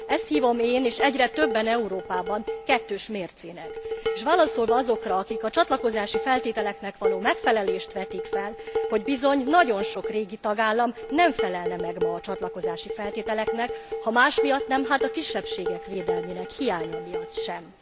Ezt hívom én, és egyre többen Európában, kettős mércének, és válaszolva azokra, akik a csatlakozási feltételeknek való megfelelést vetik fel, hogy bizony nagyon sok régi tagállam nem felelne meg ma a csatlakozási feltételeknek, ha más miatt nem, hát a kisebbségek védelmének hiánya miatt sem.